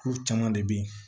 Kuru caman de bɛ yen